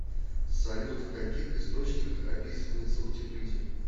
салют в каких источниках описывается утеплитель